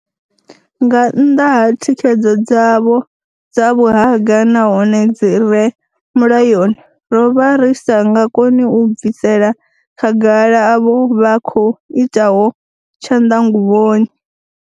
Nga nnḓa ha thikhedzo dzavho dza vhuhaga nahone dzi re mulayoni, ro vha ri sa nga koni u bvisela khagala avho vha khou itaho tshanḓanguvhoni.